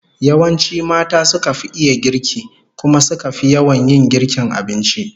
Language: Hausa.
Yawanci mata suka fi iya girki, kuma suka fi yawan yin girkin abinci